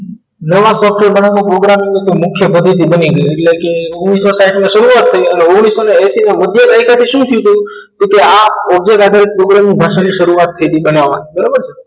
નવા software બનાવવાની programming મુખ્ય પદ્ધતિ બની ગઈ એટલે કે ઓગ્નીશો સાહીંઠ માં શરૂઆત થઈ અને ઓગ્નીશો એંશી ના મધ્ય દાયકા થી શું થયું હતું કે object સાથે programming ભાષાની શરૂઆત થઈ હતી બનાવવા બરોબરછે